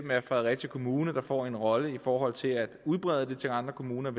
være fredericia kommune der får en rolle i forhold til at udbrede det til andre kommuner